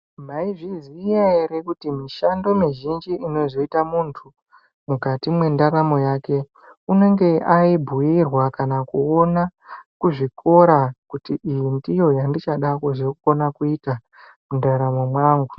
Maizviziya ere kuti mishando mizhinji inozoita muntu mukati mwendaramo yake unenge aibhuirwa kana kuona kuzvikora kuti iyi ndiyo yandichada kuzokona kuita mundaramo mwangu.